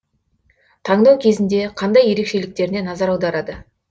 таңдау кезінде қандай ерекшеліктеріне назар аударады